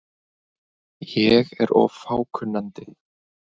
Arnbjörn, hvað er jörðin stór?